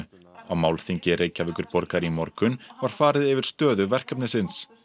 á málþingi Reykjavíkurborgar í morgun var farið yfir stöðu verkefnins